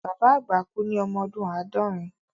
Bàbá àgbà kú ní ọmọ ọdún àádọ́rin